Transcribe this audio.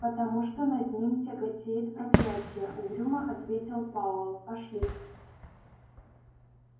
потому что над ним тяготеет проклятие угрюмо ответил пауэлл пошли